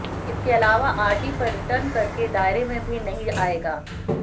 इसके अलावा आरडी पर रिटर्न कर के दायरे में भी नहीं आएगा